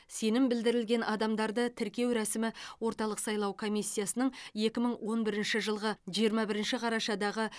сенім білдірілген адамдарды тіркеу рәсімі орталық сайлау комиссиясының екі мың он бірінші жылғы жиырма бірінші қарашадағы